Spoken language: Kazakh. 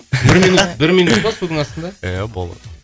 бір минут бір минут па судың астында иә болады